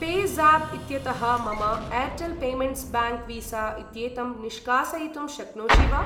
Pay ज़ाप् इत्यतः मम Airtel payments bank visa इत्येतं निष्कासयितुं शक्नोषि वा?